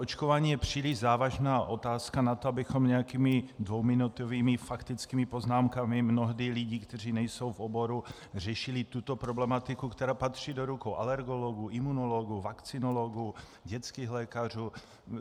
Očkování je příliš závažná otázka na to, abychom nějakými dvouminutovými faktickými poznámkami, mnohdy lidí, kteří nejsou v oboru, řešili tuto problematiku, která patří do rukou alergologů, imunologů, vakcinologů, dětských lékařů.